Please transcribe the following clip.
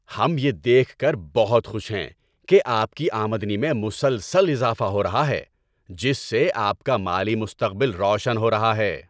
ہم یہ دیکھ کر بہت خوش ہیں کہ آپ کی آمدنی میں مسلسل اضافہ ہو رہا ہے، جس سے آپ کا مالی مستقبل روشن ہو رہا ہے!